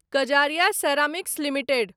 Kajaria ceramics limited